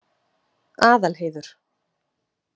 Aðalheiður